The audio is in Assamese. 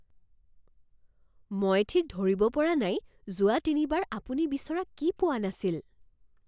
মই ঠিক ধৰিব পৰা নাই যোৱা তিনিবাৰ আপুনি বিচৰা কি পোৱা নাছিল।